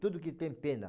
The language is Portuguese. Tudo que tem pena.